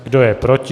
Kdo je proti?